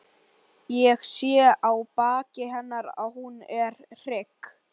Ég sé á baki hennar að hún er hrygg.